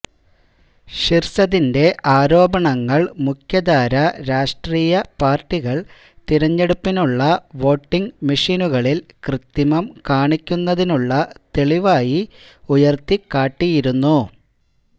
ഷിർസതിന്റെ ആരോപണങ്ങൾ മുഖ്യധാര രാഷ്ട്രീയ പാർട്ടികൾ തിരഞ്ഞെടുപ്പിനുള്ള വോട്ടിംഗ് മെഷീനുകളിൽ കൃത്രിമം കാണിക്കുന്നതിനുള്ള തെളിവായി ഉയർത്തിക്കാട്ടിയിരുന്നു